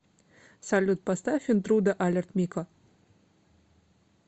салют поставь интруда алерт мико